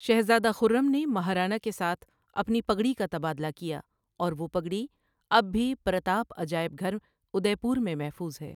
شہزادہ خرم نے مہارانا کے ساتھ اپنی پگڑی کا تبادلہ کیا اور وہ پگڑی اب بھی پرتاپ عجائب گھر، ادے پور میں محفوظ ہے۔